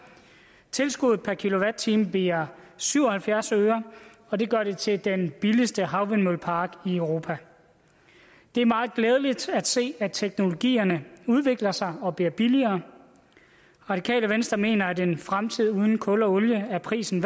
tilskuddet per kilowatt time bliver syv og halvfjerds øre og det gør det til den billigste havvindmøllepark i europa det er meget glædeligt at se at teknologierne udvikler sig og bliver billigere det radikale venstre mener at en fremtid uden kul og olie er prisen